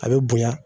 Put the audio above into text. A bɛ bonya